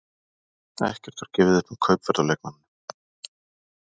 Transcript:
Ekkert var gefið upp um kaupverð á leikmanninum.